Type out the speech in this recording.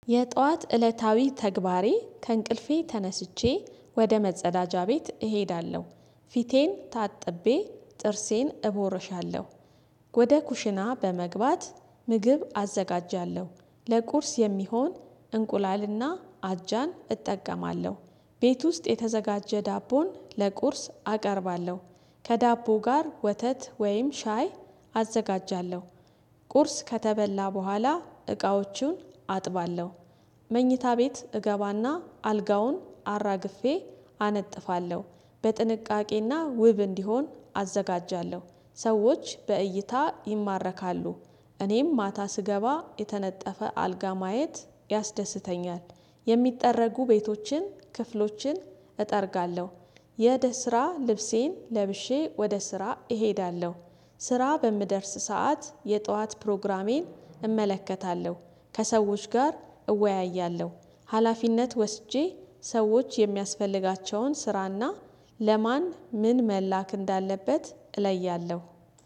የጧት እለታዊ ተግባሬ ከእንቅልፌ ተነስቼ ወደ መጸዳጃ ቤት እሄዳለሁ ፊቴን ታጥቤ ጥርሴን እቦርሻለሁ። ወደ ኩሽና በመግባት ምግብ አዘጋጃለሁ ለቁርስ የሚሆን እንቁላልና አጃን እጠቀማለሁ። ቤት ውስጥ የተዘጋጀ ዳቦን ለቁርስ አቀርባለሁ ከዳቦ ጋር ወተት ወይም ሻይ አዘጋጃለሁ። ቁርስ ከተበላ በኋላ እቃዎቹን አጥባለሁ። መኝታ ቤት እገባና አልጋውን አራግፌ አነጥፋለሁ በጥንቃቄና ውብ እንዲሆን አዘጋጃለሁ። ሰዎች በእይታ ይማረካሉ እኔም ማታ ስገባ የተነጠፈ አልጋ ማየት ያስደስተኛል። የሚጠረጉ ቤቶችን ክፍሎችን እጠርጋለሁ። የእደ ስራ ልብሴን ለብሼ ወደ ስራ እሄዳለሁ። ስራ በምደርስ ሰዓት የጧት ፕሮግራሜን እመለከታለሁ ከሰዎች ጋር እወያያለሁ። ሀላፊነት ወስጄ ሰዎች የሚያስፈልጋቸውን ስራና ለማን ምን መላክ እንዳለበት እለያለሁ።